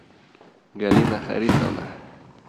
галина харисовна